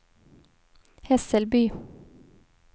Hässelby